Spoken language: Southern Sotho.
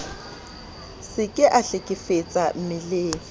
se ke a hlekefetsa mmeleng